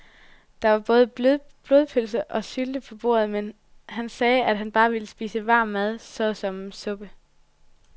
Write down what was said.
Der var både blodpølse og sylte på bordet, men han sagde, at han bare ville spise varm mad såsom suppe.